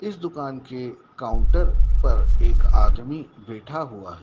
इस दुकान के काउंटर पर एक आदमी बैठा हुआ है।